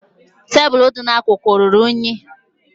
Tebụlụ dị n'akụkụ ọ ruru unyi?